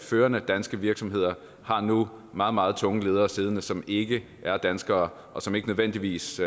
førende danske virksomheder har nu meget meget tunge ledere siddende som ikke er danskere og som ikke nødvendigvis